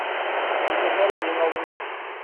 кенесары ең алдымен